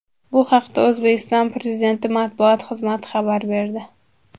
Bu haqda O‘zbekiston Prezidenti matbuot xizmati xabar berdi .